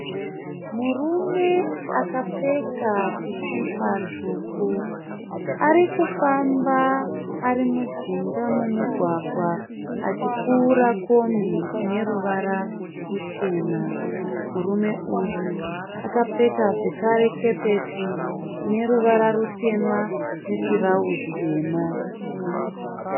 Murume akapfeka sikipa tsvuku . Arikufamba ari mujinga mumugwagwa achipfuura kombi ine ruvara ruchena . Murume uyu akapfeka zvekare kepesi ineruvara rutema netirauzi rine ruvara dema .